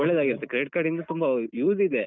ಒಳ್ಳೆದಾಗಿರುತ್ತೆ Credit Card ಇನ್ನು ತುಂಬ use ಇದೆ.